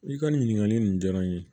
I ka nin ɲininkali ninnu diyara n ye